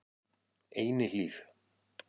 Einihlíð